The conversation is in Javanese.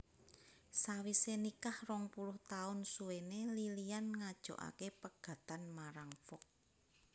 Sawisé nikah rong puluh taun suwéné Lilian ngajokaké pegatan marang Fox